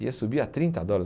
Ia subir a trinta dólar